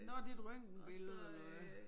Nåh det et røngtenbillede